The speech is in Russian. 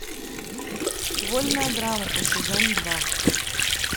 вольная грамота сезон два